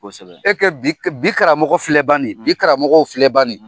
Kosɛbɛ , e kɛ bi, bi karamɔgɔ filɛ bani, bi karamɔgɔ filɛ bani!